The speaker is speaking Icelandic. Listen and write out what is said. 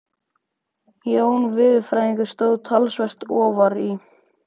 Jón veðurfræðingur stóð talsvert ofar í